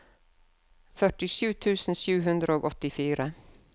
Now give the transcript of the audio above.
førtisju tusen sju hundre og åttifire